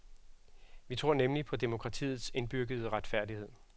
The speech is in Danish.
Vi tror nemlig på demokratiets indbyggede retfærdighed.